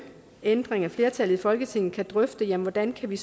ændring af flertallet i folketinget kan drøfte hvordan vi